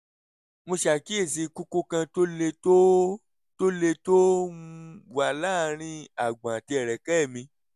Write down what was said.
mo ṣàkíyèsí kókó kan tó le tó tó le tó um wà láàárín àgbọ̀n àti ẹ̀rẹ̀kẹ́ mi